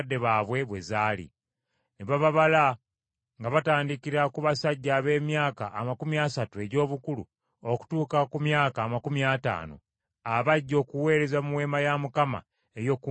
Ne bababala nga batandikira ku basajja ab’emyaka amakumi asatu egy’obukulu okutuuka ku myaka amakumi ataano, abajja okuweereza mu Weema ey’Okukuŋŋaanirangamu,